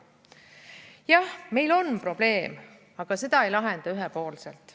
Jah, meil on probleem, aga seda ei lahenda ühepoolselt.